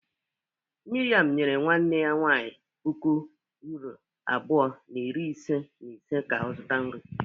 Miriam nyere nwanne ya nwanyị puku uuro abụọ na iri ise na ise ka ọ zụta nri.